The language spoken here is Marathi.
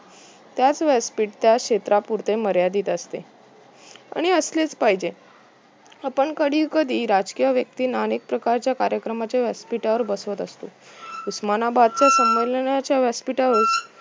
त्याच व्यासपीठ त्या क्षेत्रापुरते मर्यादित असते आणि असलेच पाहिजे आपण कधी कधी राजकीय व्यक्तींना अनेक प्रकारच्या कार्यक्रमच्या व्यासपीठावर बसवत असतो उस्मानाबादच्या संमेलनांच्या व्यासपीठावर